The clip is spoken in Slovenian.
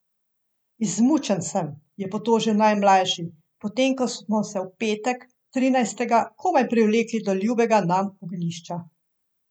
Izmučen sem, je potožil najmlajši, potem ko smo se v petek, trinajstega, komaj privlekli do ljubega nam ognjišča.